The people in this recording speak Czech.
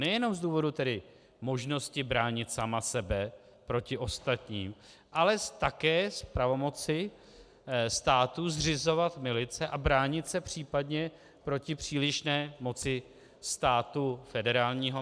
Nejenom z důvodů tedy možnosti bránit sama sebe proti ostatním, ale také z pravomoci státu zřizovat milice a bránit se případně proti přílišné moci státu federálního.